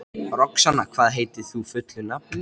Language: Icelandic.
Varla áttum við að höggva skarð í þessa þróun?